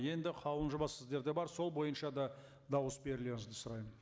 енді қаулының жобасы сіздерде бар сол бойынша да дауыс берулеріңізді сұраймын